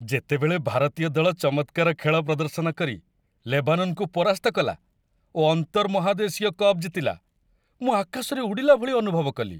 ଯେତେବେଳେ ଭାରତୀୟ ଦଳ ଚମତ୍କାର ଖେଳ ପ୍ରଦର୍ଶନ କରି ଲେବାନନକୁ ପରାସ୍ତ କଲା ଓ ଆନ୍ତର୍ମହାଦେଶୀୟ କପ୍ ଜିତିଲା, ମୁଁ ଆକାଶରେ ଉଡ଼ିଲା ଭଳି ଅନୁଭବ କଲି।